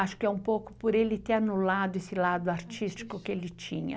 Acho que é um pouco por ele ter anulado esse lado artístico que ele tinha.